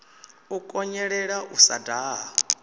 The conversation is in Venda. u konḓelela u sa daha